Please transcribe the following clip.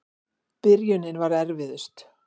Byrjunin var erfiðust.